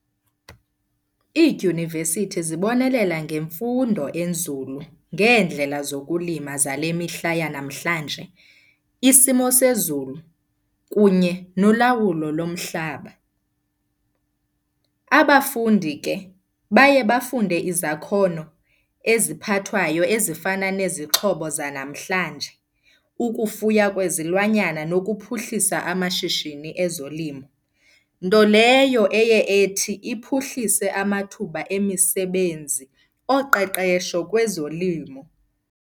Iidyunivesithi zibonelela ngemfundo enzulu ngeendlela zokulima zale mihla yanamhlanje, isimo sezulu kunye nolawulo lomhlaba. Abafundi ke baye bafunde izakhono eziphathwayo ezifana nezixhobo zanamhlanje, ukufuya kwezilwanyana nokuphuhlisa amashishini ezolimo. Nto leyo eye ethi iphuhlise amathuba emisebenzi oqeqesho kwezolimo.